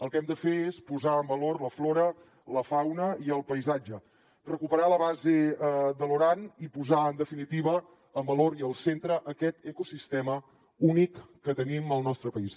el que hem de fer és posar en valor la flora la fauna i el paisatge recuperar la base de loran i posar en definitiva en valor i al centre aquest ecosistema únic que tenim al nostre país